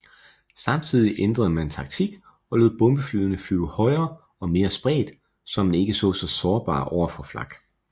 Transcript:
Samtidig ændrede man taktik og lod bombeflyene flyve højere og mere spredt så man ikke var så sårbar overfor flak